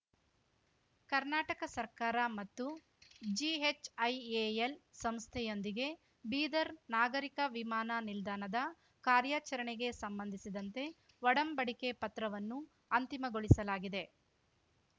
ಕರ್ನಾಟಕ ಸರ್ಕಾರ ಮತ್ತು ಜಿಹೆಚ್ಐಎಎಲ್ ಸಂಸ್ಥೆಯೊಂದಿಗೆ ಬೀದರ್ ನಾಗರಿಕ ವಿಮಾನ ನಿಲ್ದಾಣದ ಕಾರ್ಯಾಚರಣೆಗೆ ಸಂಬಂಧಿಸಿದಂತೆ ಒಡಂಬಡಿಕೆ ಪತ್ರವನ್ನು ಅಂತಿಮಗೊಳಿಸಲಾಗಿದೆ